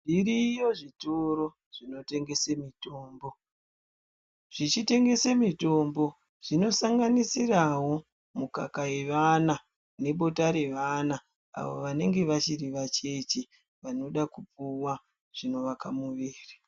Zviriyo zvitoro zvinotengese mitombo. Zvichitengese mitombo zvinosanganisirawo mukaka yevana nebota revana avo vanenge vachiri vacheche vanoda kupuwa zvinovaka muviri.